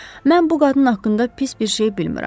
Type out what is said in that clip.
Mən bu qadın haqqında pis bir şey bilmirəm.